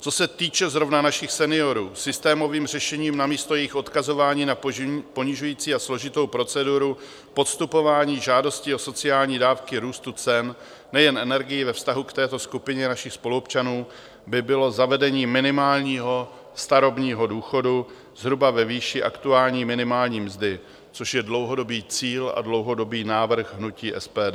Co se týče zrovna našich seniorů, systémovým řešením namísto jejich odkazování na ponižující a složitou proceduru podstupování žádosti o sociální dávky růstu cen nejen energií ve vztahu k této skupině našich spoluobčanů by bylo zavedení minimálního starobního důchodu zhruba ve výši aktuální minimální mzdy, což je dlouhodobý cíl a dlouhodobý návrh hnutí SPD.